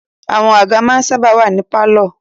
Àwọn àga ma ń sáábà wà ní pálọ̀.